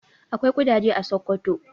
Akwai ƙudaje a Sokoto.